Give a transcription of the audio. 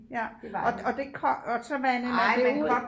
Ja og og det er kogt og så vandede man det ud